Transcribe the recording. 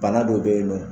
Bana dɔ bɛ yen nɔ